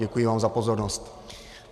Děkuji vám za pozornost.